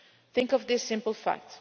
Think of this simple fact.